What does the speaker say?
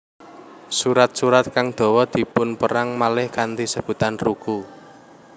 Surat surat kang dawa dipunperang malih kanthi sebutan ruku